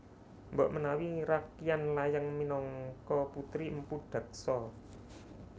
Mbok menawi Rakryan Layang minangka putri Mpu Daksa